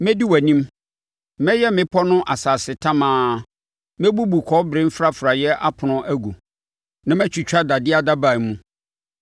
Mɛdi wʼanim mɛyɛ mmepɔ no asase tamaa; mɛbubu kɔbere mfrafraeɛ apono agu na matwitwa dadeɛ adaban mu.